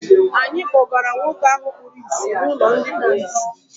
Anyị kpọgara nwoke ahụ kpuru ìsì n'ụlọ ndị kpuru ìsì.